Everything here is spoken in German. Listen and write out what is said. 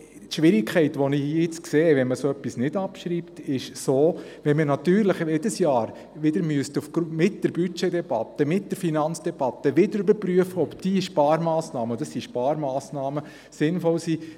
Falls man nicht abschreibt, sehe ich die Schwierigkeit, dass wir jedes Jahr in der Budgetdebatte und der Finanzdebatte überprüfen müssen, ob diese Sparmassnamen sinnvoll sind.